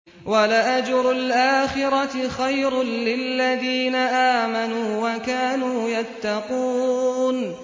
وَلَأَجْرُ الْآخِرَةِ خَيْرٌ لِّلَّذِينَ آمَنُوا وَكَانُوا يَتَّقُونَ